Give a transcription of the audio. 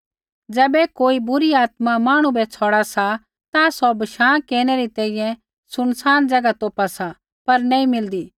ज़ैबै कोई बुरी आत्मा मांहणु बै छ़ौड़ा सा ता सौ बशाँ केरनै री तैंईंयैं सुनसान ज़ैगा तोपा सा पर नी मिलदी